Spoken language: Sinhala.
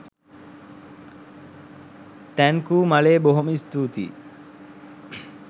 තැන්කූ මලේ බොහොම ස්තූතියි